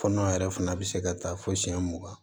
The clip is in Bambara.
Fɔnɔ yɛrɛ fana bɛ se ka taa fo siyɛn mugan